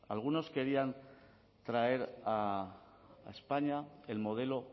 algunos querían traer a españa el modelo